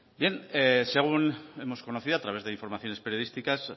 bien según hemos conocido a través de informaciones periodísticas